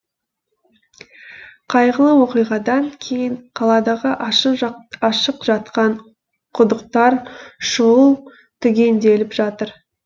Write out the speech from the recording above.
қайғылы оқиғадан кейін қаладағы ашық жатқан құдықтар шұғыл түгенделіп жатыр